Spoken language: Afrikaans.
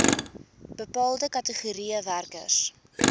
bepaalde kategorieë werkers